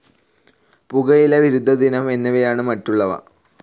പുകയില വിരുദ്ധദിനം എന്നിവയാണ് മറ്റുള്ളവ